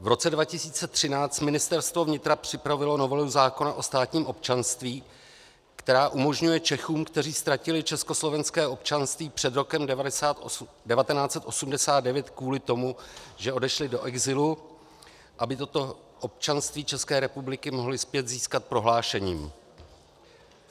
V roce 2016 Ministerstvo vnitra připravilo novelu zákona o státním občanství, která umožňuje Čechům, kteří ztratili československé občanství před rokem 1989 kvůli tomu, že odešli do exilu, aby toto občanství České republiky mohli zpět získat prohlášením.